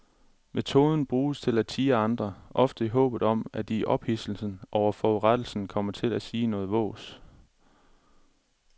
Metoden bruges til at tirre andre, ofte i håbet om at de i ophidselsen over forurettelsen kommer til at sige noget vås.